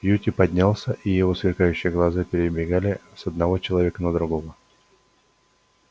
кьюти поднялся и его сверкающие глаза перебегали с одного человека на другого